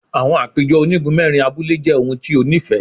Awọn apejọ onigun mẹrin abule jẹ ohun ti o nifẹ